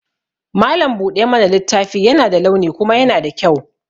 Mallam buɗa mana littafi yana da launi kuma yana da kyau.